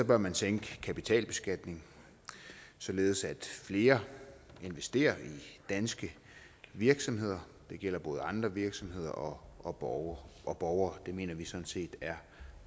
bør man tænke i kapitalbeskatning således at flere investerer i danske virksomheder det gælder både andre virksomheder og borgere og borgere det mener vi sådan set er